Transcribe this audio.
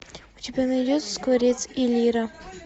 у тебя найдется скворец и лира